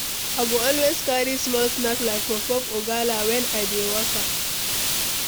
I go always carry small snack like puff-puff or gala when I dey waka.